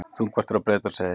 Þungfært er á Breiðdalsheiði